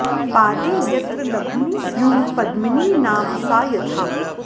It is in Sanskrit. पादे यत्र लघूनि स्युः पद्मिनी नाम सा यथा